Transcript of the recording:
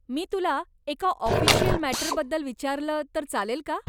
मी तुला एका ऑफिशियल मॅटरबद्दल विचारलं तर चालेल का?